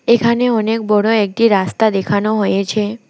এখানে অনেক বড়ো একটি রাস্তা দেখানো হয়েছে।